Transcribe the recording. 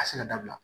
Ka se ka dabila